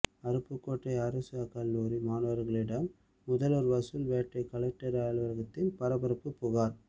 அருப்புக்கோட்டை அரசு கல்லூரி மாணவர்களிடம் முதல்வரின் வசூல் வேட்டை கலெக்டர் அலுவலகத்தில் பரபரப்பு புகார்